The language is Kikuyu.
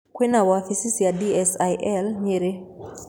Kwĩna wabici cia DSAIL Nyeri.